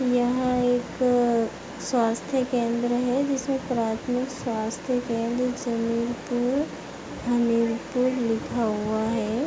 यह एक स्वास्थ्य केंद्र है जिसमें प्राथमिक स्वास्थ्य केंद्र सलीमपुर हमीरपुर लिखा हुआ है।